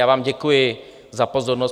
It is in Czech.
Já vám děkuji za pozornost.